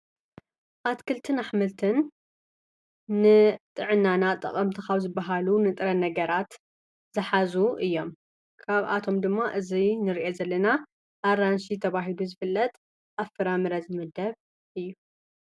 ኣትክልትን ኣኅምልትን ንጥዕናና ጠቐምቲ ካብ ዝበሃሉ ንጥረ ነገራት ዝኃዙ እዮም ካብ ኣቶም ድማ እዙይ ንርአ ዘለና ኣራንሺ ተብሂሉ ዝፍለጥ ኣፍራምረ ዝመደብ እዩ።